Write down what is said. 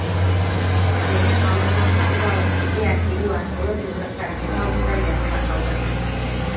сені алдыма салып алып үйге әкелу арқылы жолдастарыңның алдында ұятқа қалдырдым